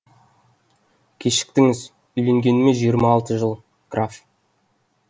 кешіктіңіз үйленгеніме жиырма алты жыл граф